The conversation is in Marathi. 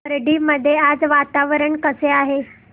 खर्डी मध्ये आज वातावरण कसे आहे